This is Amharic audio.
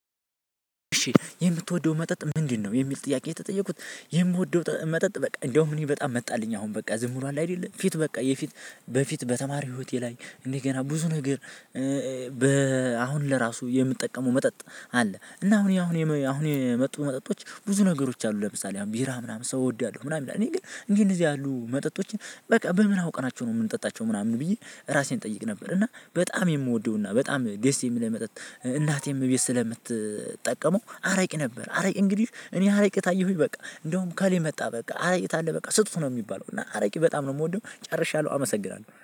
እሺ የምትወደው መጠጥ ምንድነው? የሚል ጥያቄ የተጠየኩት የምወደው መጠጥ በቃ እንደውም እኔ በጣም መጣልኝ አሁን በቃ ዝም ብሏል አይደለም ፊት በቃ የፊት በፊት በተማሪ ህይወቴ ላይ እንደገና ብዙ ነገር በ አሁን ለራሱ የምጠቀመው መጠጥ አለ እና አሁን አሁን አሁን የመጡ መጠጦች ብዙ ነገሮች አሉ ለምሳሌ አሁን ቢራ ምናምን ሰው እወዳለሁ ምናምን እኔ ግን እንደዚህ ያሉ መጠጦችን በቃ በምን አውቀናቸው ነው የምንጠጣቸው ምናምን ብዬ ራሴን እጠይቅ ነበር። እና በጣም የምወደው እና በጣም ደስ የምልህ መጠጥ እናቴም ከቤት ስለምትጠቀመው አረቂ ነበር። አረቂ እንግዲህ እኔ አረቂ ታየሁኝ በቃ እንደውም እከሌ መጣ በቃ አረቄ ካለ በቃ ስጡት ነው የሚባለው እና አረቂ በጣም ነው የምወደው ጨርሻለሁ። አመሰግናለሁ